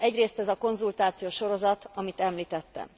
Egyrészt ez a konzultációsorozat, amit említettem.